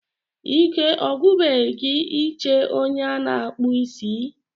Ike ọgwụbeghị gị ị che onye a na-akpụ isí?